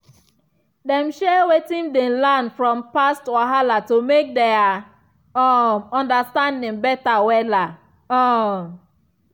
dem share wetin dem learn from past wahala to make their um understanding better wella um